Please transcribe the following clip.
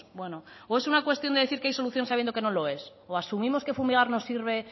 bueno o es una cuestión de decir que hay solución sabiendo que no lo es o asumimos que fumigar no sirve